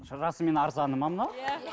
расымен арзаны ма мынау иә